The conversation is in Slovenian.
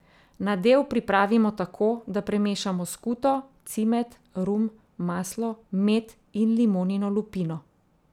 Nadev pripravimo tako, da premešamo skuto, cimet, rum, maslo, med in limonino lupino.